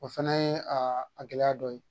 O fɛnɛ ye a gɛlɛya dɔ ye